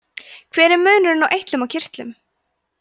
hver er munurinn á eitlum og kirtlum